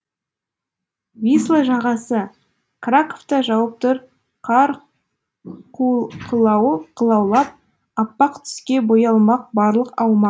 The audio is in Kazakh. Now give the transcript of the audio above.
висла жағасы краковта жауып тұр қар қылаулап аппақ түске боялмақ барлық аумақ